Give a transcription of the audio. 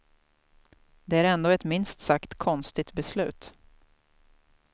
Det är ändå ett minst sagt konstigt beslut.